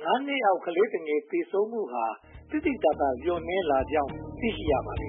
ကြောင့် (၅) နှစ်အောက် ကလေးသူငယ် သေဆုံးမှုနှုန်းဟာ သိသိသာသာ လျော့နည်းလာကြောင်း သိရှိရပါတယ်